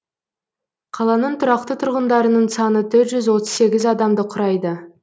қаланың тұрақты тұрғындарының саны төрт жүз отыз сегіз адамды құрайды